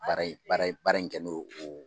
Baara baara in baara in kɛ no o